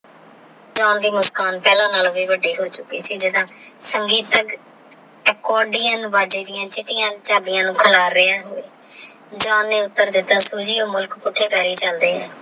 ਜਾਂ ਦੀ ਮੁਸਕਾਨ ਪਹਲਾ ਨਾਲੋ ਵੀ ਵੱਡੀ ਹੋ ਚੁਕੀ ਕ ਜਿਡਾ ਸੰਗੀਤ ਤਕ ਏਕੋ ਅੱਡਿਯਾਂ ਨੂ ਬਾਜੇ ਦਿਯਾ ਚਿਤ੍ਤਿਯਾਂ ਚਾਬਿਯਾਂ ਨੂ ਕਿਲਰ ਰੇਯਾ ਜਾਂ ਨੇ ਉੱਤਰ ਦਿਤਾ